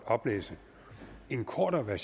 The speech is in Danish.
man